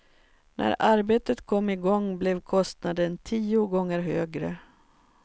När arbetet kom i gång blev kostnaden tio gånger högre.